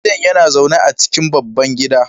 shugaban gidan yana zaune a cikin babban gida